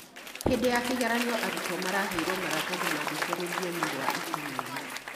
Hĩndĩ ya kĩgeranio arutwo maraheirwo maratathi maandĩke rũthiomi rwa itumumu